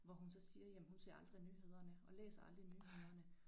Hvor hun så siger jamen hun ser aldrig nyhederne og læser aldrig nyhederne